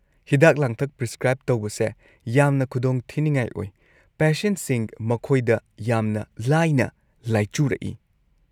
ꯍꯤꯗꯥꯛ-ꯂꯥꯡꯊꯛ ꯄ꯭ꯔꯤꯁꯀ꯭ꯔꯥꯏꯕ ꯇꯧꯕꯁꯦ ꯌꯥꯝꯅ ꯈꯨꯗꯣꯡ ꯊꯤꯅꯤꯉꯥꯏ ꯑꯣꯏ; ꯄꯦꯁꯦꯟꯠꯁꯤꯡ ꯃꯈꯣꯏꯗ ꯌꯥꯝꯅ ꯂꯥꯏꯅ ꯂꯥꯏꯆꯨꯔꯛꯏ꯫